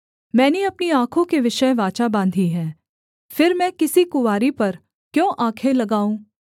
मैंने अपनी आँखों के विषय वाचा बाँधी है फिर मैं किसी कुँवारी पर क्यों आँखें लगाऊँ